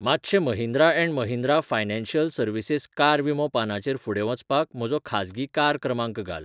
मातशें Mahindra and Mahindra financial services car विमो पानाचेर फुडें वचपाक म्हजो खाजगी कार क्रमांक घाल.